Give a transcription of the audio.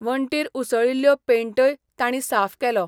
वणटीर उसळिल्लो पेन्टय तांणी साफ केलो.